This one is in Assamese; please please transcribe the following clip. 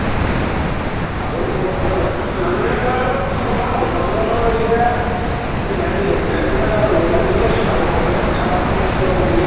প্ৰান্জাল ও প্ৰান্জাল দা প্ৰান্জাল দাৰ খবৰ ভাল প্ৰান্জাল দাদাৰ এতিয়া হেৰি গাড়ী ঘড়া ল'লে লই আছে আৰু মাজতে এখন থাৰ এখন ল'লে এতিয়া আকৌ নতুন কে